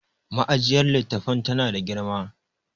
ma'ajiyar litattafan tana da girma